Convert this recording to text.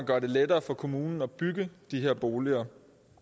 gør det lettere for kommunen at bygge de her boliger